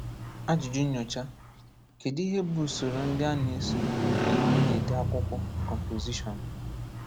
Ajụjụ Nnyocha: Kedu ihe bụ usoro ndị a na-eso mgbe ị na-ede akwụkwọ (composition)?